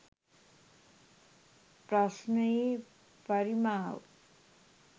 ප්‍රශ්ණයේ පරිමාව